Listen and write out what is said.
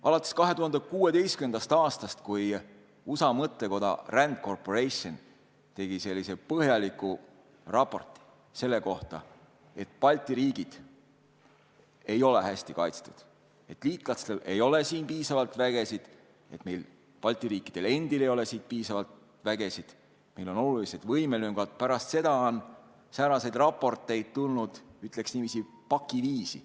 Alates 2016. aastast, kui USA mõttekoda RAND Corporation tegi põhjaliku raporti selle kohta, et Balti riigid ei ole hästi kaitstud, et liitlastel ei ole siin piisavalt üksusi, et meil, Balti riikidel endil, ei ole piisavalt vägesid, meil on olulised võimelüngad, on sääraseid raporteid tulnud, ütleks niiviisi, pakiviisi.